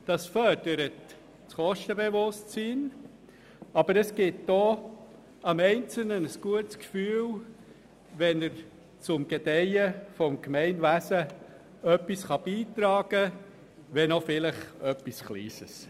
Das fördert das Kostenbewusstsein und gibt dem Einzelnen aber auch ein gutes Gefühl, wenn er zum Gedeihen des Gemeinwesens etwas beitragen kann, wenn vielleicht auch nur wenig.